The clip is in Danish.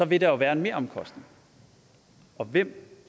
vil der være en meromkostning og hvem